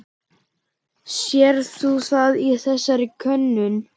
Sérð þú það í þessari könnun?